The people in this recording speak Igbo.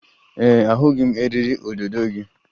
Ee e, ahụghị m eriri odo odo gị